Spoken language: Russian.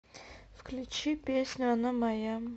включи песню она моя